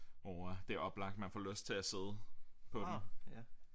Hvor at det er oplagt man får lyst til at sidde på den